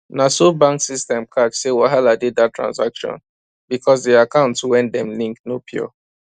na so bank system catch say wahala dey that transaction because the account wey dem link no pure